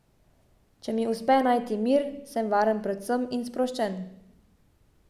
Če mi uspe najti mir, sem varen pred vsem in sproščen.